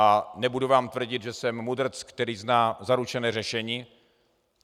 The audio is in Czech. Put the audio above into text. A nebudu vám tvrdit, že jsem mudrc, který zná zaručené řešení.